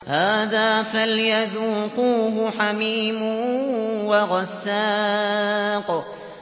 هَٰذَا فَلْيَذُوقُوهُ حَمِيمٌ وَغَسَّاقٌ